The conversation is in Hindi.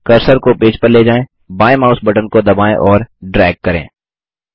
कर्सर को पेज पर ले जाएँ बायें माउस बटन को दबाएँ और ड्रैग करें